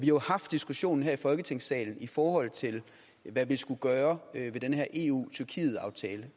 jo haft diskussionen her i folketingssalen i forhold til hvad vi skulle gøre ved den her eu tyrkiet aftale